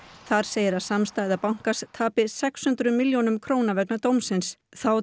þar segir að samstæða bankans tapi sex hundruð milljónum króna vegna dómsins þá